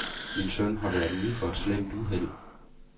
Min søn har været ude for et slemt uheld.